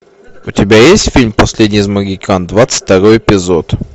у тебя есть фильм последний из магикян двадцать второй эпизод